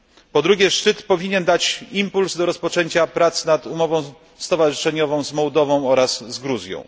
Po drugie, szczyt powinien dać impuls do rozpoczęcia prac nad umową stowarzyszeniową z Mołdową oraz z Gruzją.